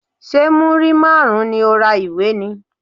Ṣé múrí márùn-ún ni o ra ìwé ni?